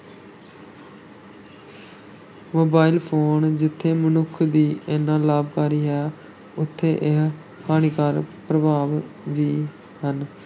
Mobile phone ਜਿੱਥੇ ਮਨੁੱਖ ਲਈ ਏਨਾ ਲਾਭਕਾਰੀ ਹੈ, ਉੱਥੇ ਇਹ ਹਾਨੀਕਾਰਕ ਪ੍ਰਭਾਵ ਵੀ ਹਨ।